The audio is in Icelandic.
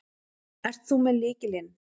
Ert þú með lykilinn?